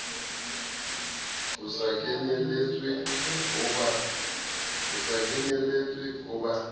ho sa kenyelletswe ho ba